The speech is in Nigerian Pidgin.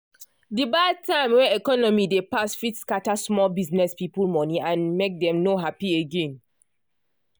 de bad time wey economy dey pass fit scatter small business people monie and make dem no happy again.